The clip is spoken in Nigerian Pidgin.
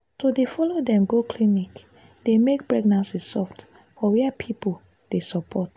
to dey follow dem go clinic dey make pregnancy soft for where people dey support.